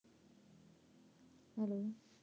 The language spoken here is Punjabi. Hello